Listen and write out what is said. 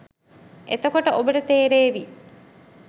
එතකොට ඔබට තේරේවි